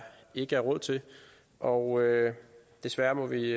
ikke er råd til og desværre må vi